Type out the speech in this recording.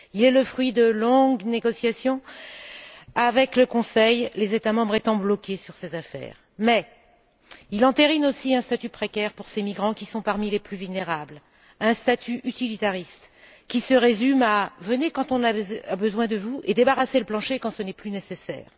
Il est le fruit de longues négociations avec le Conseil, les États membres étant bloqués sur ces affaires, mais il entérine aussi un statut précaire pour ces migrants qui sont parmi les plus vulnérables, un statut utilitariste qui se résume à venez quand on a besoin de vous et débarrassez le plancher quand ce n'est plus nécessaire.